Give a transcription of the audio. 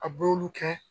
A bul'olu kɛ